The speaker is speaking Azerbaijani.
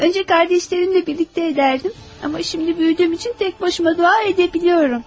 Əvvəlcə qardaşlarımla birlikdə edərdim, amma indi böyüdüyüm üçün təkbaşıma dua edə bilirəm.